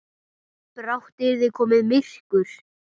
Brátt yrði komið myrkur.